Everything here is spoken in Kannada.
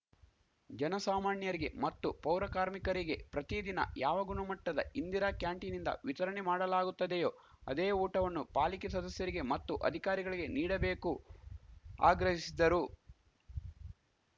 ಜನಸಾಮಾಣ್ಯರಿಗೆ ಮತ್ತು ಪೌರಕಾರ್ಮಿಕರಿಗೆ ಪ್ರತಿದಿನ ಯಾವ ಗುಣಮಟ್ಟದ ಇಂದಿರಾ ಕ್ಯಾಂಟೀನ್‌ನಿಂದ ವಿತರಣೆ ಮಾಡಲಾಗುತ್ತದೆಯೋ ಅದೇ ಊಟವನ್ನು ಪಾಲಿಕೆ ಸದಸ್ಯರಿಗೆ ಮತ್ತು ಅಧಿಕಾರಿಗಳಿಗೆ ನೀಡಬೇಕು ಆಗ್ರಹಿಸಿದ್ದರು